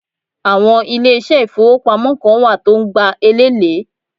Àwọn ilésé ìfowópamọ́ Kan wà tó n gba elèlé